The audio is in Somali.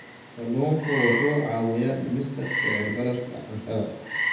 Kalluunku wuxuu caawiyaa dhimista sicir bararka cuntada.